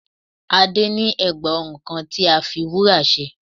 Adé ní ègbà ọrùn kan tí a fi wúrà ṣe